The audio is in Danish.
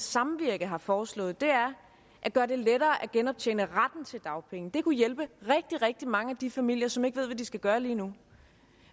samvirke har foreslået er at gøre det lettere at genoptjene retten til dagpenge det kunne hjælpe rigtig rigtig mange af de familier som ikke ved hvad de skal gøre lige nu